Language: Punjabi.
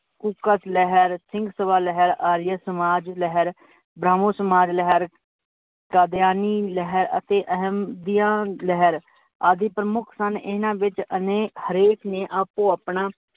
ਕੂਕਾਂ ਲਹਿਰ, ਸਿੰਘ ਸਬਾ ਲਹਿਰ, ਆਰੀਆ ਸਮਾਜ ਲਹਿਰ, ਬ੍ਰਮਣ ਸਮਾਜ ਲਹਿਰ, ਕਾਦੀਆਨੀ ਲਹਿਰ, ਅਤੇ ਅਹਮ ਦੀਆ ਲਹਿਰ, ਆਦਿ ਪ੍ਰਮੁੱਖ ਸਨ। ਇਨਾਂ ਵਿੱਚ ਅਨੇਕ ਹਰੇਕ ਨੇ ਆਪੋ ਆਪਣਾ,